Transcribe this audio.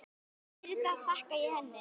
Fyrir það þakka ég henni.